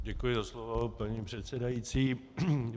Děkuji za slovo, paní předsedající.